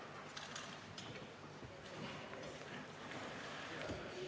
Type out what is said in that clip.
Istungi lõpp kell 23.41.